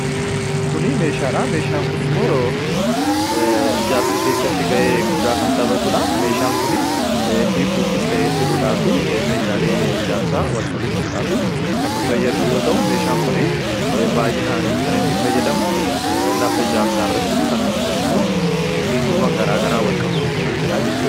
kuni meeshaadha meeshaan kun immoo ijaarsa keessatti ga'ee guddaa kan xabatuudha meeshaan kun hiikuufis ta'ee hidhuudhaa fi meeshaalee ijaarsa walqabsiisudhaa fi kan nu fayyadu yoo ta'u meeshaan kun baay'inaanii kan inni fayyadamu lafa ijaarsaa irratti akkasumas immoo hiituuwwan garaa garaa walqabsiisu irratti hidhaa jechudha